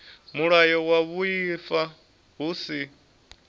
mulayo wa vhuaifa hu si